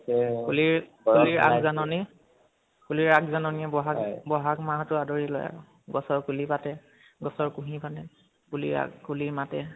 কুলিৰ, কুলিৰ আগ জননী, কুলিৰ আগ জননীয়ে বহাগ, বহাগ মাহটো আদৰি লয় । গছৰ কুহি পাতে, গছৰ কুহি মানে, কুলি, কুলি মাতে